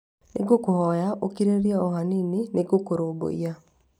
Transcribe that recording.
Nĩ ngũkũhoya ũkirĩrĩrie o hanini nĩ ngũkũrũmbũiya